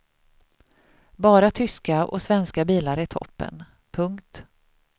Bara tyska och svenska bilar i toppen. punkt